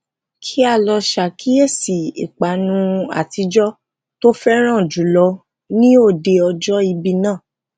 kíá lo sakiyesi ipanu atijo tó féràn jùlọ ni òde ọjọ ibi naa